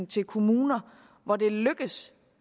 til kommuner hvor det lykkes